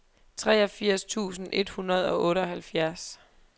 treogfirs tusind et hundrede og otteoghalvfjerds